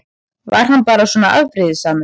Var hann bara svona afbrýðisamur?